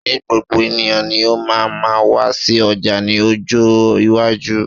se gbogbo eniyan ni o maa ma wa si oja ni ojo iwaju?